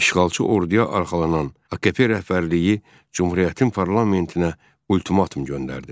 İşğalçı orduya arxalanan AKP rəhbərliyi Cümhuriyyətin parlamentinə ultimatum göndərdi.